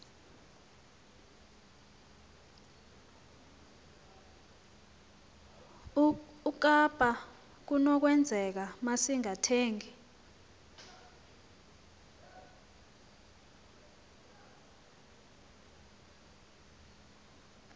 ukaba kunokwenzeka masingathengi